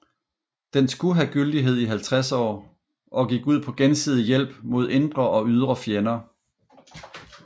Den skulle have gyldighed i 50 år og gik ud på gensidig hjælp mod indre og ydre fjender